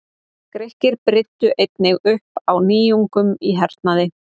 Grikkir brydduðu einnig upp á nýjungum í hernaði.